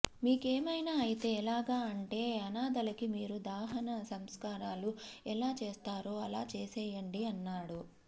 మీకేమైనా అయితే యెలాగా అంటే అనాధలకి మీరు దహన సంస్కారాలు యెలా చేస్తారో అలా చేసెయ్యండి అన్నాడు